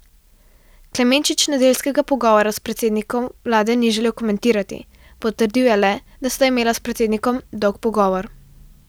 Klemenčič nedeljskega pogovora s predsednikom vlade ni želel komentirati, potrdil je le, da sta imela s predsednikom dolg pogovor.